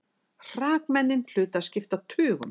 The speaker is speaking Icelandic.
Hrakmennin hlutu að skipta tugum.